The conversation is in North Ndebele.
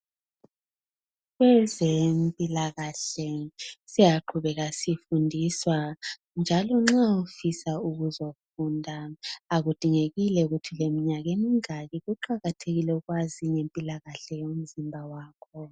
Kwezempilakahle siyaqhubeka sifundiswa. Njalo nxa ufisa ukuzofunda akudingekile ukuba uleminyaka emingaki. Kuqakathekile ukwazi ngempila kahle yakho.